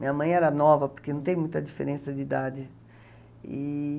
Minha mãe era nova, porque não tem muita diferença de idade e